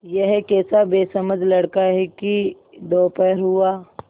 यह कैसा बेसमझ लड़का है कि दोपहर हुआ